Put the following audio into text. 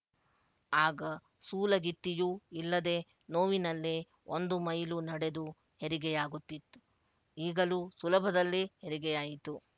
ಆಗ ಸೂಲಗಿತ್ತಿಯೂ ಇಲ್ಲದೆ ನೋವಿನಲ್ಲೇ ಒಂದು ಮೈಲು ನಡೆದು ಹೆರಿಗೆಯಾಗುತಿತ್ತು ಈಗಲೂ ಸುಲಭದಲ್ಲಿ ಹೆರಿಗೆಯಾಯಿತು